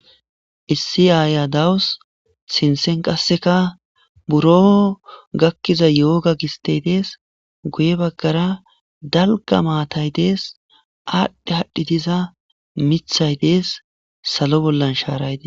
Issi aaya dawus, sinththen qasseka buro gakkiza yooga gistey dees, guye baggara dalgga maatay dees, aadhdhe haadhdhi diza miththay dees, salo bollan shaaray des.